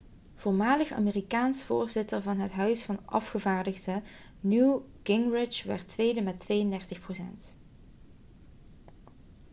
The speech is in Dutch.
voormalig amerikaans voorzitter van het huis van afgevaardigden newt gingrich werd tweede met 32 procent